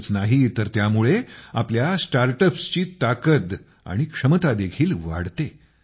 इतकेच नाही तर त्यामुळे आपल्या स्टार्टअपस ची ताकद आणि क्षमता देखील वाढते